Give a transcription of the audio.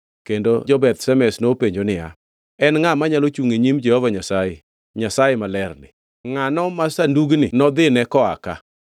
kendo jo-Beth Shemesh nopenjo niya, “En ngʼa manyalo chungʼ e nyim Jehova Nyasaye, Nyasaye malerni? Ngʼatno ma Sandugni nodhine koa ka?”